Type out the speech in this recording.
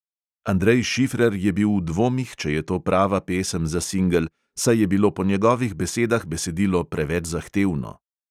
Andrej šifrer je bil v dvomih, če je to prava pesem za singel, saj je bilo po njegovih besedah besedilo preveč zahtevno.